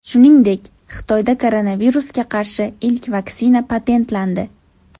Shuningdek, Xitoyda koronavirusga qarshi ilk vaksina patentlandi.